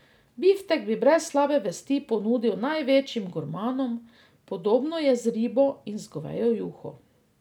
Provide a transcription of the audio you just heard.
Biftek bi brez slabe vesti ponudil največjim gurmanom, podobno je z ribo in z govejo juho.